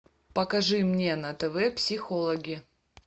покажи мне на тв психологи